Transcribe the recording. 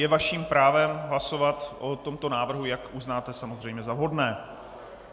Je vaším právem hlasovat o tomto návrhu, jak uznáte samozřejmě za vhodné.